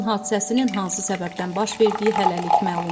Yanğın hadisəsinin hansı səbəbdən baş verdiyi hələlik məlum deyil.